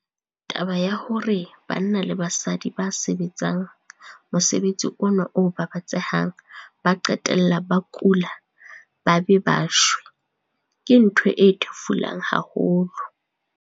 Taba ya hore banna le basadi ba sebetsang mosebetsi ona o babatsehang ba qetella ba kula ba be ba shwe, ke ntho e thefulang haholo.